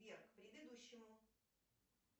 сбер к предыдущему